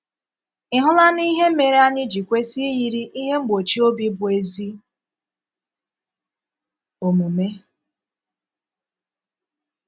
Ị̀ hụlanụ ihe mére anyị ji kwesị íyìrì “ ihe mgbochí obi bụ́ ezí omume. ”